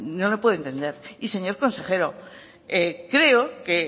no lo puedo entender y señor consejero creo que